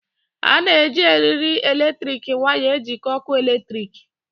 A na-eji eriri eletrik waya ejikọọ ọkụ eletrik